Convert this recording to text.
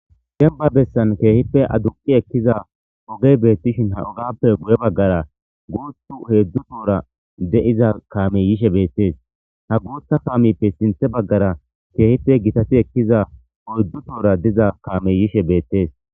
Gemba bessan keehippe adunqi ekkiza ogey beettishin ha ogappe gu7e baggara guuthu heedzdzu toora de7iza kaamey yishe beettees ha guutha kaameppe sinthe baggara keehippe gitati ekkiza oydzdzu toora diza kaamey yishe beettees.